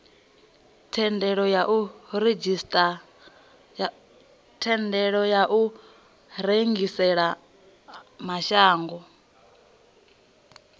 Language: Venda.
thendelo ya u rengisela mashango